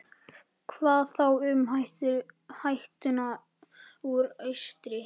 Hvað þá um hættuna úr austri?